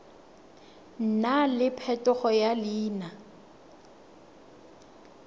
nna le phetogo ya leina